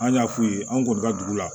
An y'a f'u ye an kɔni ka dugu la